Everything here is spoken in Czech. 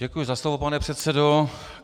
Děkuji za slovo, pane předsedo.